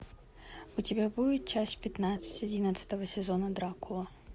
у тебя будет часть пятнадцать одиннадцатого сезона дракула